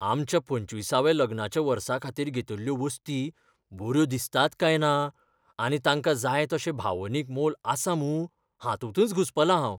आमच्या पंचवीसव्या लग्नाच्या वर्साखातीर घेतिल्ल्यो वस्ती बऱ्यो दिसतात काय ना आनी तांकां जाय तशें भावनीक मोल आसा मूं हातूंतच घुस्पलां हांव.